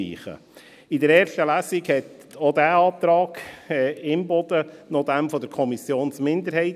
In der ersten Lesung entsprach auch dieser Antrag Imboden noch demjenigen der Kommissionsminderheit.